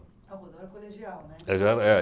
Ah, o Roldão era colegial, né? Ele já era, é.